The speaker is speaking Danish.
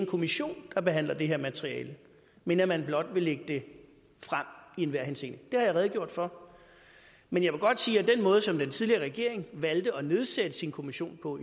kommission der behandler det her materiale men at man blot vil lægge det frem i enhver henseende det har jeg redegjort for men jeg vil godt sige at den måde som den tidligere regering valgte at nedsætte sin kommission på